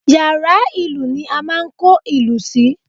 Yàrá ìlù ni a máa ń kó ìlù sí